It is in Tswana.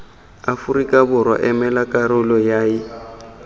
aforika borwa emela karolo yay